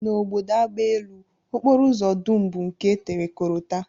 N'obodo agbaelu, okporoụzọ dum bụ nke e tere korota